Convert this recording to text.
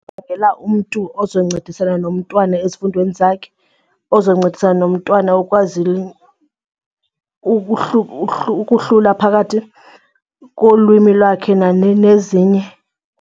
umntu ozoncedisana nomntwana ezifundweni zakhe, ozoncedisana nomntwana ukwazi ukuhlula phakathi kolwimi lwakhe nezinye.